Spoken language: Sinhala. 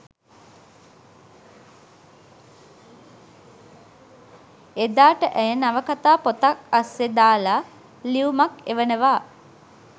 එදාට ඇය නවකතා පොතක් අස්සෙ දාල ලියුමක් එවනවා